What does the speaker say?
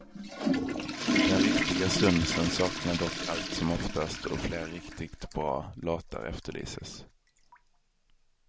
Den riktiga stunsen saknas dock allt som oftast, och fler riktigt bra låtar efterlyses.